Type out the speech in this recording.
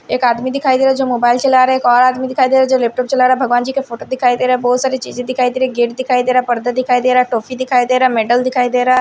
एक आदमी दिखाई दे रहा है जो मोबाइल चला रहा है एक और आदमी दिखाई दे रहा है जो लैपटॉप चला रहा है भगवान जी के फोटो दिखाई दे रहा है बहुत सारी चीज़ें दिखाई दे रही है गेट दिखाई दे रहा है पर्दा दिखाई दे रहा है टॉपी दिखाई दे रहा है मेटल दिखाई दे रहा --